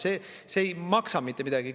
See ei maksa mitte midagi.